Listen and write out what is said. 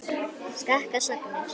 Skakkar sagnir.